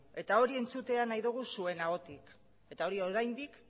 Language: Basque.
eta hori entzutea nahi dugu zuen ahotik eta hori oraindik